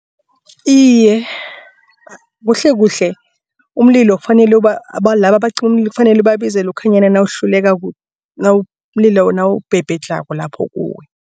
Iye, kuhlekuhle umlilo kufanele laba abacima umlilo kufanele babizwe lokhanyana nawuhluleko umlilo nawubhebhedlhako lapho kuwe.